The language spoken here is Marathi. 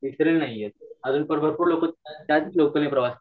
आजून भरपूर लोक प्रवास करतात